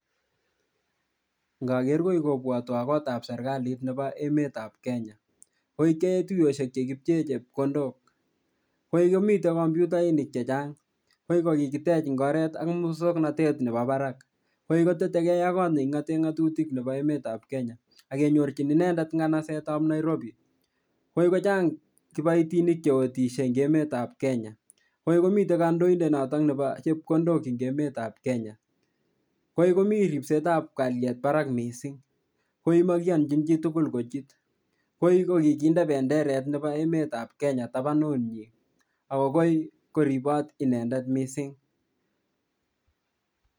Ngoger koi kobwatwon kotab serkalit nebo emetab Kenya. Koi keyoen toyosiek che kipcheen chepkondok. Koi komiten computainik che chang. Koi ko kikitech eng oret ak muswoknatet nebo barak. Koi ko teteke ak kot ne kingaten ngatutik nebo emetab Kenya ak kenyorchin inendet nganasetab Nairobi. Koi kochang kiboitinik cheotisie eng emetab Kenya. Koi komiten kandoindet noton nebo chepkondok eng emetab Kenya. Koi komi ripsetab kalyet barak mising. Koi ko makianjin chitugul kochut. Koi ko kikinde benderet nebo emetab Kenya tabanyi agobo koribot inendet mising.